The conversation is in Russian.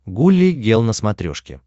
гулли гел на смотрешке